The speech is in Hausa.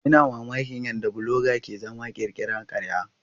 Ina mamakin yadda bloga ke zama ya ƙirƙira ƙarya.